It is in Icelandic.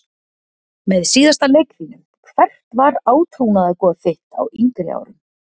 Með síðasta leik þínum Hvert var átrúnaðargoð þitt á yngri árum?